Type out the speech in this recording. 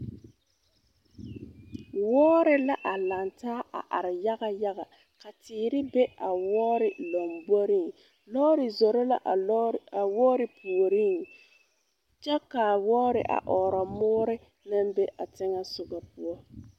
Wɔɔre la a lantaa a are yaŋayaŋa ka teere be a wɔɔre lamboreŋ lɔɔre zoro la a wɔɔre puoriŋ kyɛ ka wɔɔre a ɔɔrɔ moore na be a teŋɛsoɡa poɔ.